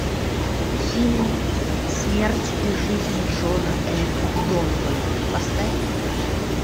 фильм смерть и жизнь джона ф донована поставь